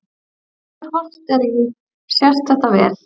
Þegar horft er í sést þetta vel.